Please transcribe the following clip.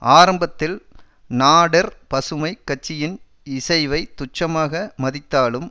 ஆரம்பத்தில் நாடெர் பசுமை கட்சியின் இசைவை துச்சமாக மதித்தாலும்